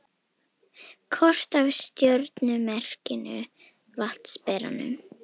Kort af stjörnumerkinu Vatnsberanum.